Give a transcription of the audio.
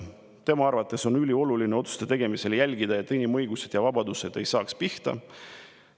Tema arvates on otsuste tegemisel ülioluline jälgida, et inimõigused ja vabadused ei saaks pihta.